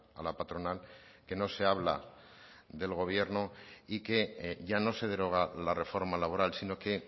a la patronal que no se habla del gobierno y que ya no se deroga la reforma laboral sino que